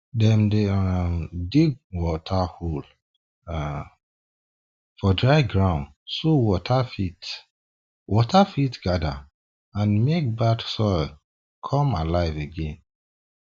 dem dey um dig water hole um for dry ground so water fit water fit gather and mek bad soil come alive again um